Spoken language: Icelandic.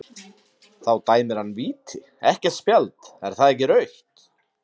Þá dæmir hann víti, ekkert spjald, er það ekki rautt?